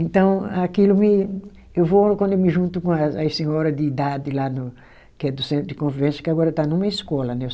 Então, aquilo me. Eu vou quando eu me junto com as senhora de idade lá no, que é do centro de convivência, que agora está numa escola, né?